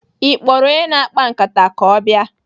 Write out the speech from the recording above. Ị kpọrọ onye na-akpa nkata ka ọ bịa?